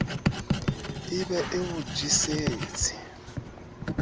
e be e o jesetse